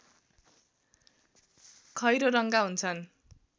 खैरो रङ्गका हुन्छन्